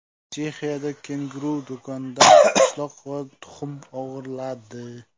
Chexiyada kenguru do‘kondan pishloq va tuxum o‘g‘irladi.